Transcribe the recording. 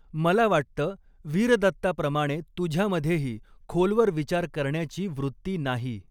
मला वाटत वीरदत्ताप्रमाणे तुझ्यामधेही खोलवर विचार करण्याची वृत्ती नाही.